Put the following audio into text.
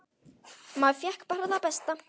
Maður fékk bara það besta.